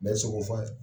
Bɛɛ ye sogo fɔ a ye